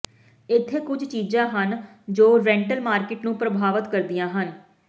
ਇੱਥੇ ਕੁਝ ਚੀਜ਼ਾਂ ਹਨ ਜੋ ਰੈਂਟਲ ਮਾਰਕੀਟ ਨੂੰ ਪ੍ਰਭਾਵਤ ਕਰਦੀਆਂ ਹਨ